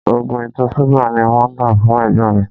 Oògùn ìtọ̀ ṣúgà ni wọ́n tá fún ẹ̀gbọ́n mi